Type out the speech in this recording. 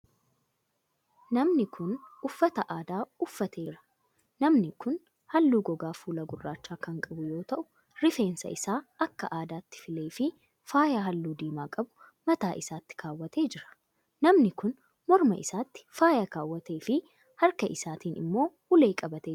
Namni kun, uffata aadaa uffatee jira. Namni kun, haalluu gogaa fuulaa gurraacha kan qabu yoo ta'u, rifeensa isaa akka aadaatti filee fi faaya haalluu diimaa qabu mataa isaatti kaawwatee jira. Namni kun, morma isaatti faaya kaawwatee fi harka isaatin immoo ulee qabatee jira.